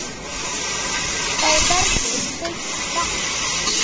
Það verður seint þakkað.